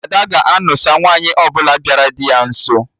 Ada ga-anụsa nwaanyị ọbụla bịara dị ya nso